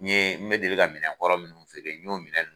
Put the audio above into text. N yee n be deli ka minɛnkɔrɔ minnu feere n y'o minɛn nunnu